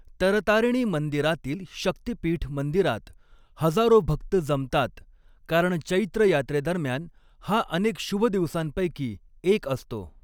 तरतारिणी मंदिरातील शक्तीपीठ मंदिरात हजारो भक्त जमतात, कारण चैत्र यात्रेदरम्यान हा अनेक शुभ दिवसांपैकी एक असतो.